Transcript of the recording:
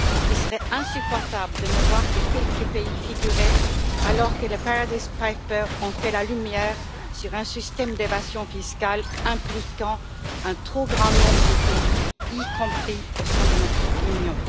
Il serait insupportable de ne voir que quelques pays y figurer alors que les Paradise Papers ont fait la lumière sur un système d'évasion fiscale impliquant un trop grand nombre de pays, y compris au sein de notre Union.